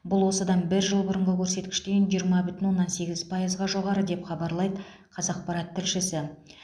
бұл осыдан бір жыл бұрынғы көрсеткіштен жиырма бүтін оннан сегіз пайызға жоғары деп хабарлайды қазақпарат тілшісі